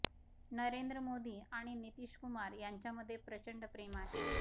नरेंद्र मोदी आणि नितीश कुमार यांच्यामध्ये प्रचंड प्रेम आहे